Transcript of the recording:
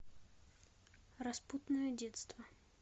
распутное детство